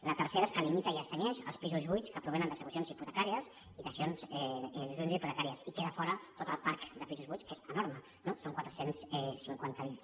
la tercera és que limita i es cenyeix als pisos buits que provenen d’execucions hipotecàries i dacions hipotecàries i queda fora tot el parc de pisos buits que és enorme no són quatre cents i cinquanta miler